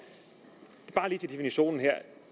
så bare lige til definitionen kan